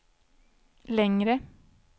längre